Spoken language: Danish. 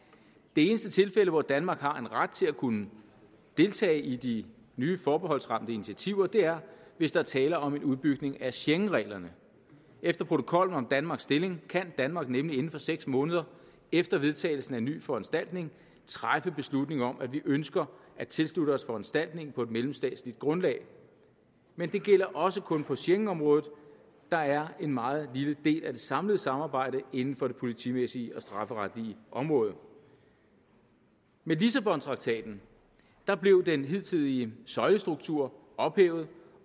det eneste tilfælde hvor danmark har en ret til at kunne deltage i de nye forbeholdsramte initiativer er hvis der er tale om en udbygning af schengenreglerne efter protokollen om danmarks stilling kan danmark nemlig inden for seks måneder efter vedtagelsen af en ny foranstaltning træffe beslutning om at vi ønsker at tilslutte os foranstaltningen på et mellemstatsligt grundlag men det gælder også kun på schengenområdet der er en meget lille del af det samlede samarbejde inden for det politimæssige og strafferetlige område med lissabontraktaten blev den hidtidige søjlestruktur ophævet